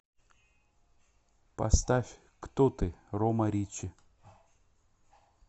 поставь кто ты рома риччи